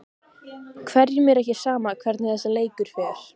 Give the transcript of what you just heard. Hverjum er ekki sama hvernig þessi leikur fer?